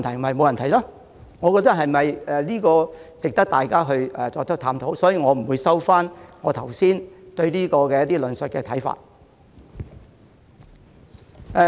我認為這是值得大家探討的問題，所以，我不會收回剛才有關該宗案件的論述和看法。